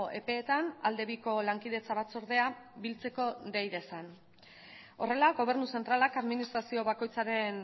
epeetan alde biko lankidetza batzordea biltzeko dei dezan horrela gobernu zentralak administrazio bakoitzaren